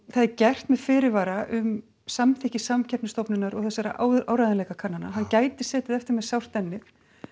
það er gert með fyrirvara um samþykki Samkeppnisstofnunar og áreiðanleikakannana hann gæti setið eftir með sárt ennið